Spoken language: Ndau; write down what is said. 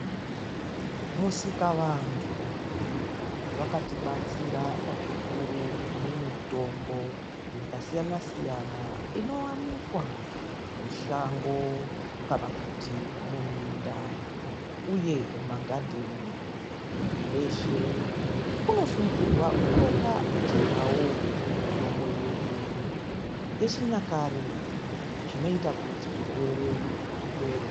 Musikavandu vakatibatsira zvikuru nemitombo yakasiyana siyana inowanikwa mushango kana kuti muminda uye magadheni, muntu weshe unosungirwa kupotawo achirya mitombo yedu yechinyakare zvinoita kuti zvirwere zvipere.